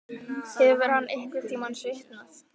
Hefur hann einhverntímann svitnað?